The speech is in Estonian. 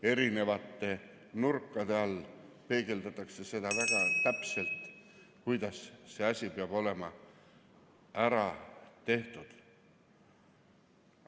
Erinevate nurkade alt peegeldatakse väga täpselt seda, kuidas see asi peab olema ära tehtud.